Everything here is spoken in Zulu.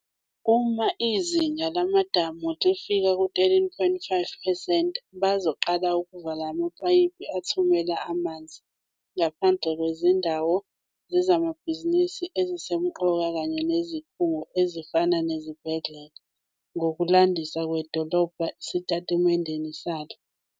"Uma izinga lamadamu lifika ku-13.5 percent, bazoqala ukuvala amapayipi athumela amanzi, ngaphandle kwezindawo zezamabhizinisi ezisemqoka kanye nezikhungo, ezifana nezibhedlela," ngokulandisa kwedolobha esitatimendeni salo.